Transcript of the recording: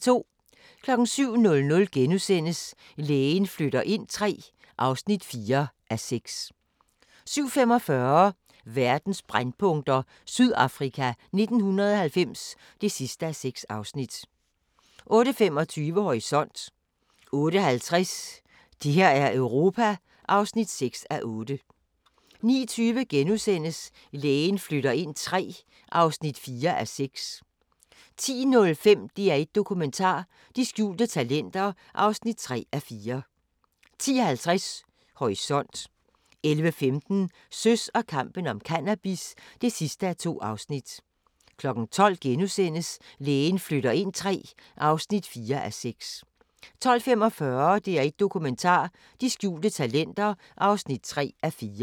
07:00: Lægen flytter ind III (4:6)* 07:45: Verdens brændpunkter: Sydafrika 1990 (6:6) 08:25: Horisont 08:50: Det her er Europa (6:8) 09:20: Lægen flytter ind III (4:6)* 10:05: DR1 Dokumentar: De skjulte talenter (3:4) 10:50: Horisont 11:15: Søs og kampen om cannabis (2:2) 12:00: Lægen flytter ind III (4:6)* 12:45: DR1 Dokumentar: De skjulte talenter (3:4)